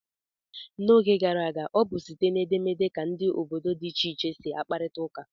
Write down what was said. N'oge gara aga, ọ bụ site na edemede ka ndị bi obodo dị iche iche si akparita ụka.